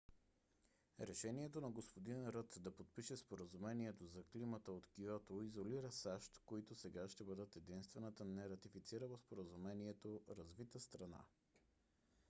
решението на г - н ръд да подпише споразумението за климата от киото изолира сащ които сега ще бъдат единствената нератифицирала споразумението развита страна